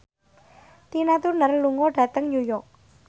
Tina Turner lunga dhateng New York